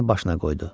başına qoydu.